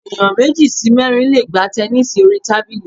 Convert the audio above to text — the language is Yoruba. Ẹ̀yàn méjì sí mẹ́rin le gbá tẹnísì orí tábìlì.